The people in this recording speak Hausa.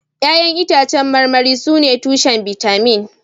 Ya'yan itãcen marmari sune tushen bitamin